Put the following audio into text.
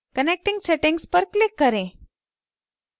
connection settings पर click करें